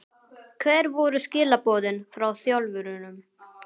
Hver voru skilaboðin frá þjálfurunum?